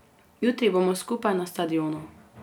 Jutri bomo skupaj na stadionu.